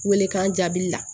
Welekan jaabi la